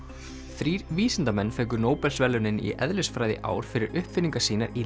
þrír vísindamenn fengu Nóbelsverðlaunin í eðlisfræði í ár fyrir uppfinningar sínar í